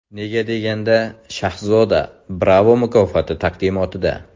Nega deganda Shahzoda Bravo mukofoti taqdimotida!